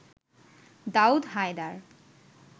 Daud Haider